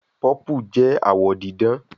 Purple jẹ awọ didan